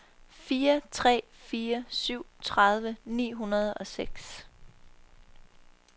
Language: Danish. fire tre fire syv tredive ni hundrede og seks